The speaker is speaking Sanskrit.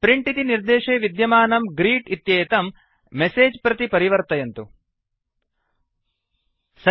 प्रिंट् इति निर्देशे विद्यमानं ग्रीट् इत्येतं मेसेज् प्रति परिवर्तयन्तु println कन्वर्ट् इन्तो println